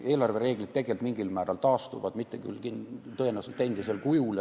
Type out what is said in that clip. Eelarvereeglid tegelikult mingil määral taastuvad, tõenäoliselt mitte küll endisel kujul.